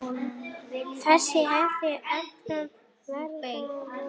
Þessu hefur öllu verið stolið!